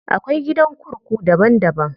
Akwai gidan kurku daban daban.